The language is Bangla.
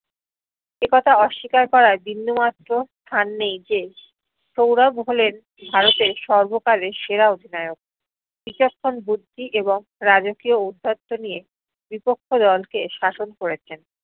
একথা অস্বীকার করার বিন্দু মাত্র স্থান নেই যে সৌরভ হলেন ভারতের সর্বকালের সেরা অধিনায়ক। বিচক্ষণ বুদ্ধি এবং রাজকীয় ঔদ্ধত্য নিয়ে বিপক্ষ দলকে শাসন করেছেন।